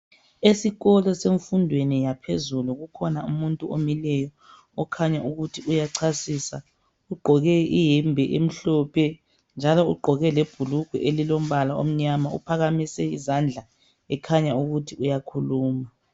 Esikolo semfundweni yaphezulu, kukhona umuntu omileyo. Okhanya ukuthi uyachasisa Ugqoke iyembe emhlophe, njalo ugqoke lebhulugwe elilombala omnyama. Uphakamise izandla, ekhanya ukuthi uyakhuluma.